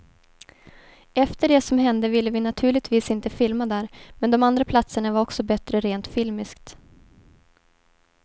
Efter det som hände ville vi naturligtvis inte filma där, men de andra platserna var också bättre rent filmiskt.